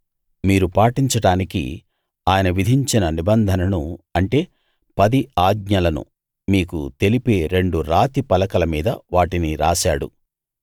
మీరు పాటించడానికి ఆయన విధించిన నిబంధనను అంటే పది ఆజ్ఞలను మీకు తెలిపే రెండు రాతి పలకల మీద వాటిని రాశాడు